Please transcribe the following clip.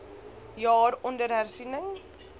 jaar onder hersiening